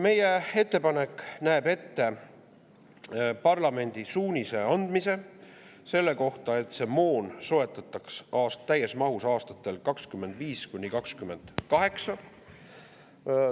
Meie ettepanek näeb esiteks ette parlamendi suunise andmise selle kohta, et see moon soetataks täies mahus aastatel 2025–2028.